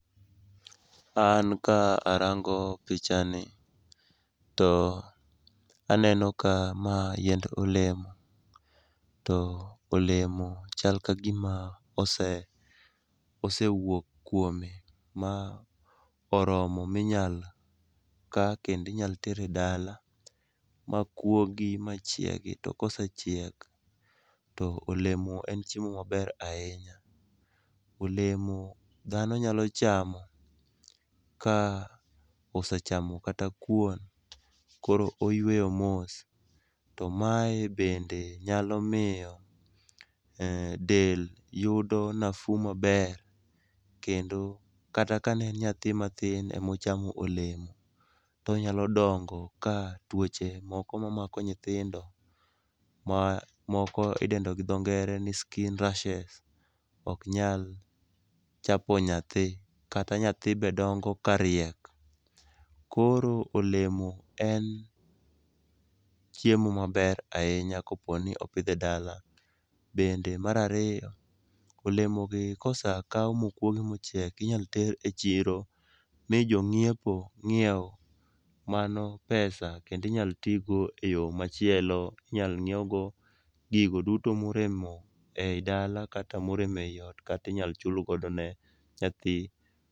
An ka arango pichani to aneno ka ma yiend olemo ,to olemo chal ka gima osewuok kuome, ma oromo minyalo ka kendo inyalo ter e dala makuogi machiegi to kosechiek, to olemo en chiemo maber ahinya. Olemo dhano nyalo chamo ka osechamo kata kuon koro oyweyo mos, to mae bende nyalo miyo del yudo nafuu mber kendo kata kane en nyathi matin emochamo olemo, tonyalo dongo ka tuoche moko mamako nyithindo ma moko idendo gi dhongere ni skin rashes ok nyal chapo nyathi, kata nyathi be dongo kariek. Koro olemo en chiemo maber ahinya koponi opidh e dala. Bende mar raiyo, olemo be kosa kaw mokwogi mochiek, inyalo ter e chiro mi jong'iepo nyiew, mano pesa kendo inyalo tigo eyo machielo, inyalo nyiewgo gigo duto morem e dala kata morem e ot kata inyalo chul godo ne nyathi.